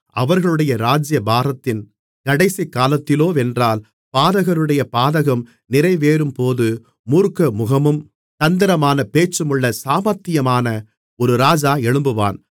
அவர்களுடைய ராஜ்ஜியபாரத்தின் கடைசிக்காலத்திலோவென்றால் பாதகருடைய பாதகம் நிறைவேறும்போது மூர்க்கமுகமும் தந்திரமான பேச்சுமுள்ள சாமர்த்தியமான ஒரு ராஜா எழும்புவான்